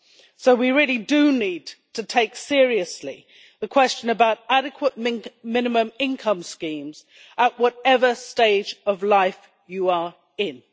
So we really do need to take seriously the question about adequate minimum income schemes at whatever stage of life you are in.